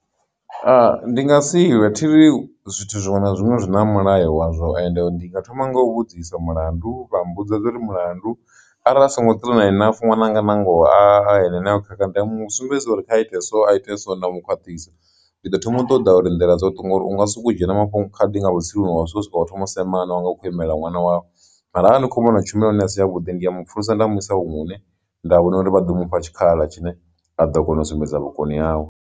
Ha ndi nga si lwe thiri zwithu zwiṅwe na zwiṅwe zwi na mulayo wa zwo and ndi nga thoma nga u vhudzisa mulandu vha mmbudza uri mulandu arali a songo enough ṅwananga nangoho a ene ane o khakha ndi a mu sumbedzisa uri kha ite so a ite so nda mu khwaṱhisa. Ndi ḓo thoma u ṱoḓa uri nḓila dza u to ngori unga soko dzhena mafhungo khadi nga vhutsiluni nga zwithu zwo thoma u semana wanga hu khou imela ṅwana wavho mara hani kho vhona uri tshumelo ya hone a si ya vhuḓi ndi ya mupfhulusa nda mu isa huṅwe hune nda vhona uri vha ḓo mufha tshikhala tshine a ḓo kona u sumbedza vhukoni hawe.